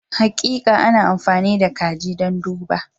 Hakika, ana amfani da kaji don duba.